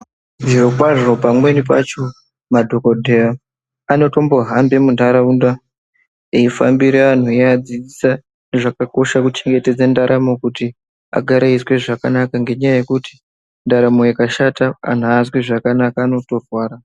Zviro kwazvo pamweni pacho madhokodheya anotombohamba munharaunda eifambira antu eiadzidzisa zvakakoshera kuchengetedza ndaramo kuti agare eizwa zvakanaka ngendaa yekuti ndaramo ikashata aazwi zvakanaka anotorwara.